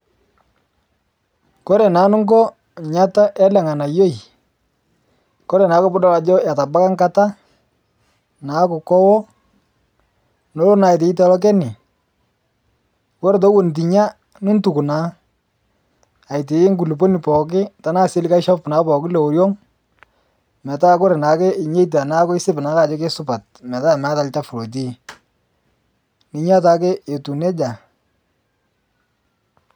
Kore naa nuko eata ele nganayioi kore naa pee idol ajo etabaua ekata naaku keo noolo naa atau tolchani, ore eton itu nya nituk naa aitau nkuluponi pooki tenaa kaisilig atayu olchoni pooki lioriong metaa ore naake nyaita naa isip naake ajo kesupat metaa meeta olchafu lotii ninya taake etiu nejia.